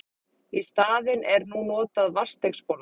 Í staðinn er nú notað vatnsdeigsbolla.